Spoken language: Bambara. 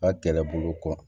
A kɛlɛbolo kɔ